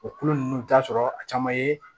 O kulo nunnu i bi t'a sɔrɔ a caman ye